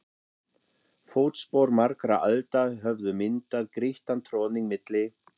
Fótspor margra alda höfðu myndað grýttan troðning milli